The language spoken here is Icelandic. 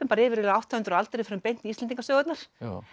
yfir átta hundruð aldir við förum beint í Íslendingasögurnar